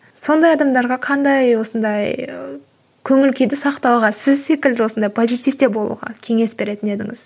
сондай адамдарға қандай осындай көңіл күйді сақтауға сіз секілді осындай позитивте болуға кеңес беретін едіңіз